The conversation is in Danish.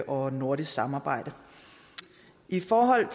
og nordisk samarbejde i forhold